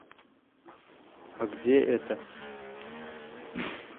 а где это